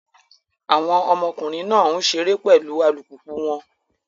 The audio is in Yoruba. Awọn ọmọkunrin náà n ṣere pẹlu alupupu wọn